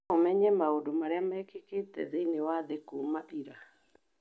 no ũmenye ũhoro wa maũndũ marĩa mekĩkĩte thĩinĩ wa thĩ kuuma ira